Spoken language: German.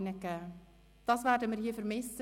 Deine Voten werden wir vermissen.